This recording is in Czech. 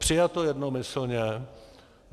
Přijato jednomyslně.